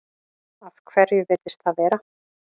Af hverju virðist það vera?